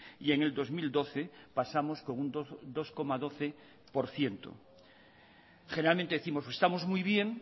y en el dos mil doce pasamos con un dos coma doce por ciento generalmente décimos estamos muy bien